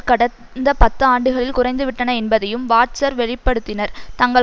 கடந்த பத்து ஆண்டுகளில் குறைந்துவிட்டன என்பதையும் வாட்ஸர் வெளி படுத்தினார் தங்கள்